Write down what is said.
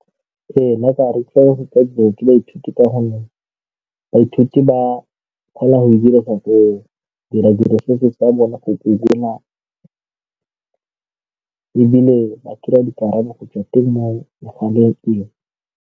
Ee, nna ka re tshwanetse go ja dibuka ba ithute ka gonne baithuti ba kgona go dira ditiro tsa bone go Google-a ebile ba kry-a dikarabo go tswa teng mo megaleng.